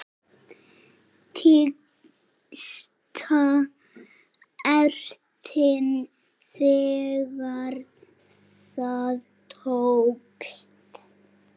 Tísta ertin þegar það tókst.